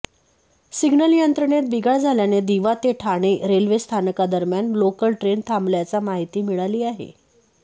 signal यंत्रणेत बिघाड झाल्याने दिवा ते ठाणे रेल्वे स्थानकादरम्यान लोकल ट्रेन थांबल्याच्या माहिती मिळाली आहे